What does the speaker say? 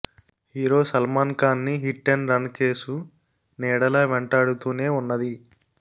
hero Salman Khan ని hit and run case నీడలా వెంటాడుతూనే ఉన్నది